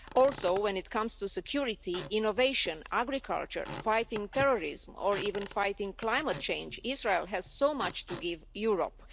Also when it comes to security, innovation, agriculture, fighting terrorism, or even fighting climate change, Israel has so much to give Europe.